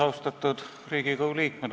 Austatud Riigikogu liikmed!